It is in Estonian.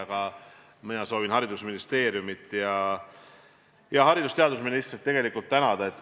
Aga mina soovin haridusministeeriumit ning haridus- ja teadusministrit tänada.